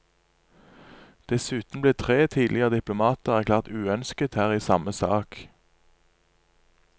Dessuten ble tre tidligere diplomater erklært uønsket her i samme sak.